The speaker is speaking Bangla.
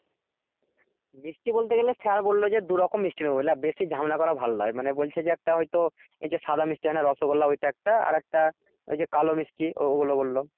মিষ্টি বলতে গেলে স্যার বললো যে দু রকম মিষ্টি নিবো বুঝলা বেশি জামেলা করা ভালো নয় মানে বলছে যে একটা হয়তো এই যে সাদা মিষ্টি হয় না রসগোল্লা ওই টা একটা আর একটা ওই যে কালো মিষ্টি ওগুলো বললো